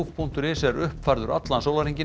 punktur is er uppfærður allan sólarhringinn